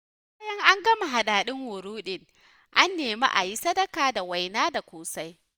Bayan an gama adadin wurudin, an nemi a yi sadaka da waina da ƙosai..